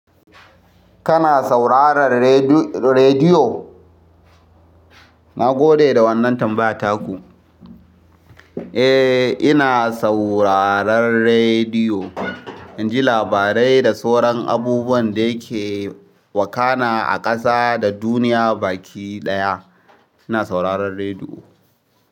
Kana sauraran rediyo? Na gode da wannan tambayataku. Eh, ina sauraron rediyo. In ji labarai da sauran abubuwan ɗaya ke wakana a ƙasa da duniya baki ɗaya. Ina sauraron rediyo.